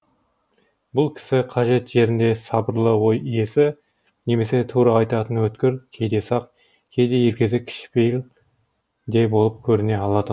бұл кісі қажет жерінде сабырлы ой иесі немесе тура айтатын өткір кейде сақ кейде елгезек кішіпейіл де болып көріне алатын